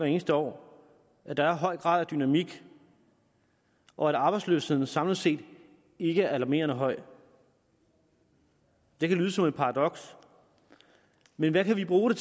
eneste år at der er en høj grad af dynamik og at arbejdsløsheden samlet set ikke er alarmerende høj det kan lyde som et paradoks men hvad kan vi bruge